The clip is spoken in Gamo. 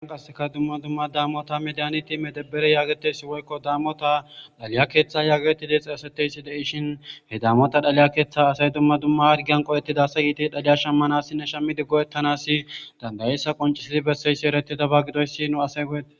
Aan kasseka dumma dumma daamota mediyani ti medebbere yaagetesi woykko daammota dhaliya keeththa yagtidexi asateysi deishin he daamota dhaliya keeththa asay dumma dumma hargiyan qo7ettida asa yiiti dhaliya shammanasi ne shammi diggo ettanassi dandayessa qoncisili besseyssi ereti daba gidoyssi nu asay go7eta